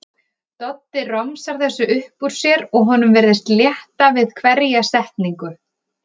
Doddi romsar þessu upp úr sér og honum virðist létta við hverja setningu.